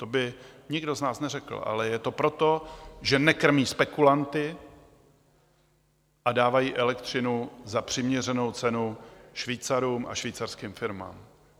To by nikdo z nás neřekl, ale je to proto, že nekrmí spekulanty a dávají elektřinu za přiměřenou cenu Švýcarům a švýcarským firmám.